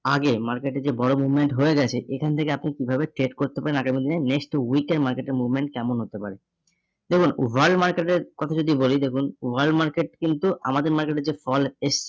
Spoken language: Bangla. আগে মার্কেটে যে বড় movement হয়ে গেছে এখান থেকে আপনি কিভাবে trade করতে পারেন আগামী দিনে next week এর market movement কেমন হতে পারে, দেখুন world market এর কথা যদি বলি দেখুন world market কিন্তু আমাদের market এ যে fall আছে